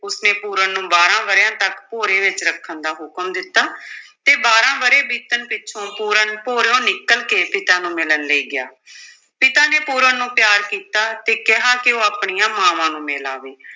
ਉਸਨੇ ਪੂਰਨ ਨੂੰ ਬਾਰਾਂ ਵਰਿਆਂ ਤੱਕ ਭੋਰੇ ਵਿੱਚ ਰੱਖਣ ਦਾ ਹੁਕਮ ਦਿੱਤਾ ਤੇ ਬਾਰਾਂ ਵਰੇ ਬੀਤਣ ਪਿੱਛੋਂ ਪੂਰਨ ਭੋਰਿਓ ਨਿਕਲ ਕੇ ਪਿਤਾ ਨੂੰ ਮਿਲਣ ਲਈ ਗਿਆ ਪਿਤਾ ਨੇ ਪੂਰਨ ਨੂੰ ਪਿਆਰ ਕੀਤਾ ਤੇ ਕਿਹਾ ਕਿ ਉਹ ਆਪਣੀਆਂ ਮਾਵਾਂ ਨੂੰ ਮਿਲ ਆਵੇ।